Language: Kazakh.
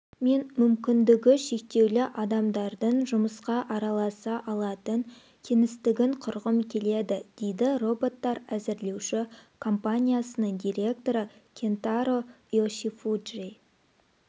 мен мүмкіндігі шектеулі адамдардың жұмысқа араласа алатын кеңістігін құрғым келеді дейді роботтарәзірлеуші компаниясының директоры кентаро йошифуджи